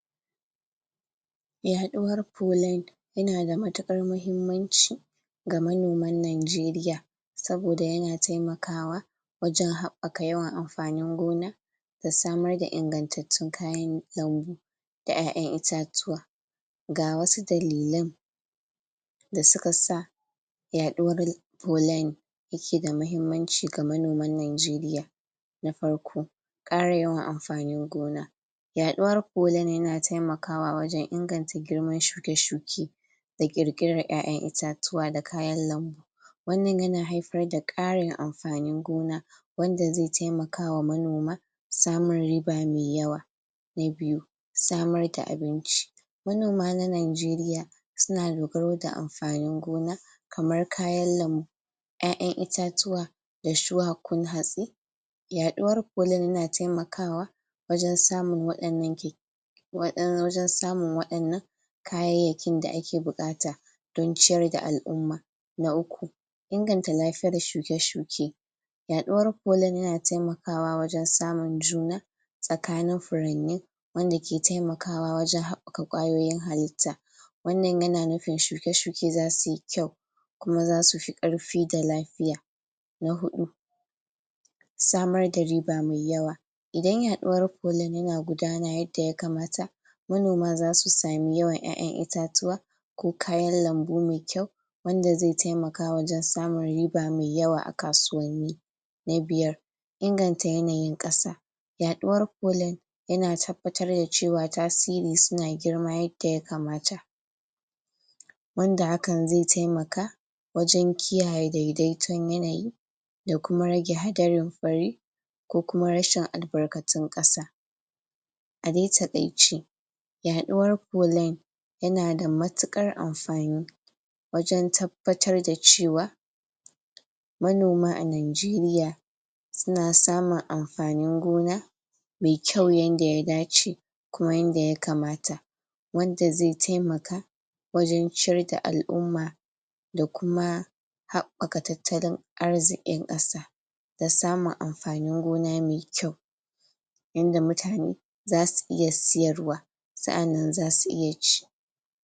yaɗuwar polin yana da matukar mahimmanci ga manoman nijeriya saboda yana taimakawa wajen haɓɓaka yawan amfanin gona da samar da ingantattun kayan lambu da ƴaƴan itatuwa. ga wasu dalilan da suka sa yaɗuwar polin yake da mahimmanci ga manoman najeriya na farko ƙara yawan amfanin gona yaɗuwar polin yana taimakawa wajen inganta girman shuke-shuke da ƙirƙirar ƴaƴan itatuwa da kayan lambu wannan yana haifar da ƙarin amfanin gona wanda zai taimakawa manoma samun riba mai yawa na biyu samar da abinci manoma na najeriya suna dogaro da amfanin gona kamar kayan lambu ƴaƴan itatuwa da shuwakun hatsi yaɗuwar polin yana taimakawa wajen samun waɗannan kya wajen samun waɗannan kayayyakin da ake bukata don ciyar da al'umma. na uku inganta lafiyar shuke-shuke yaɗ uwar polin yana tamakawa wajen samun juna tsakanin furanni wanda ke taimakawa wajen haɓɓaka kwayoyin halitta wannan yana nufin shuke-shuke zasuyi kyau kuma zasu fi ƙarfi da lafiya. na huɗu samar da riba mai yawa idan yaɗuwar polin yana gudana yadda ya kamata manoma zasu sami yawan ƴaƴan itatuwa ko kayan lambu mai kyau wanda zai taimaka wajen samun riba mai yawa a kasuwanni na biyar inganta yanayin ƙasa yaɗuwar polin yana tabbatar da cewa tasiri suna girma yadda ya kamata wanda hakan zai taimaka wajen kiyaye daidaiton yanayi da kuma rage hadarin fari ko kuma rashin albarkatun ƙasa a dai taƙaice yaɗuwar polin yana da matukar amfani wajen tabbatar da cewa manoma a najeriya suna samun amfanin gona mai kyau yanda ya dace kuma yanda ya kamata wanda zai taimaka wajen ciyar da al'umma da kuma haɓɓaka tattalin arzikin ƙasa da samun amfanin gona mai kyau yanda mutane zasu iya siyarwa sa'annan zasu iya ci